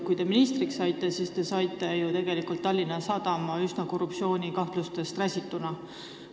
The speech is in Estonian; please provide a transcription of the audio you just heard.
Kui te ministriks saite, siis anti Tallinna Sadam teile üle üsna korruptsioonikahtlustest räsituna.